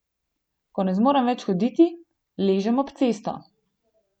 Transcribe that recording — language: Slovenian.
Ko ne zmorem več hoditi, ležem ob cesto.